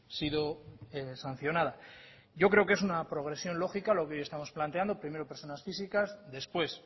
sido sancionada yo creo que es una progresión lógica lo que hoy estamos planteando primero personas físicas después